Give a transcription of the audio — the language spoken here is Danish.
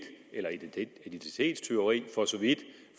eller identitetstyveri for så vidt